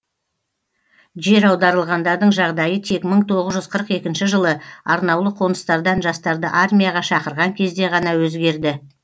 жер аударылғандардың жағдайы тек мың тоғыз жүз қырық екінші жылы арнаулы қоныстардан жастарды армияға шақырған кезде ғана өзгерді